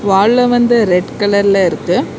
வால்ல வந்து ரெட் கலர்ல இருக்கு.